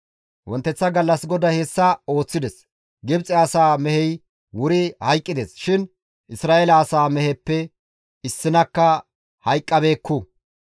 Wonteththa gallas GODAY hessa ooththides. Gibxe asaa mehey wuri hayqqides shin Isra7eele asaa meheppe issinakka hayqqabeekku.